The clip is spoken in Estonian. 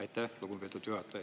Aitäh, lugupeetud juhataja!